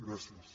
gràcies